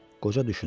Qoca düşündü.